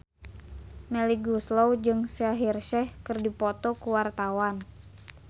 Melly Goeslaw jeung Shaheer Sheikh keur dipoto ku wartawan